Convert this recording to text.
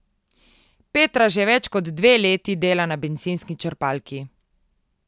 Petra že več kot dve leti dela na bencinski črpalki.